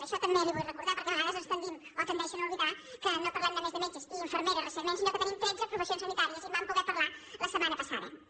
això també li ho vull recordar perquè a vegades doncs tendim o tendeixen a oblidar que no parlem només de metges i infermeres recentment sinó que tenim tretze professi·ons sanitàries i en vam poder parlar la setmana passa·da